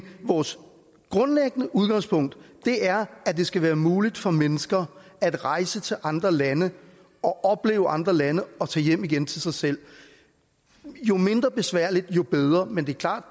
vores grundlæggende udgangspunkt er at det skal være muligt for mennesker at rejse til andre lande og opleve andre lande og tage hjem igen til sig selv jo mindre besværligt jo bedre men det er klart